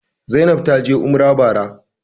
Zainab taje umrah bara